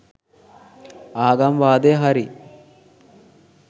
ආගම් වාදය හරි